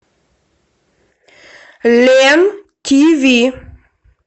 лен тв